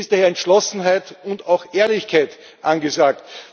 Jetzt ist daher Entschlossenheit und auch Ehrlichkeit angesagt.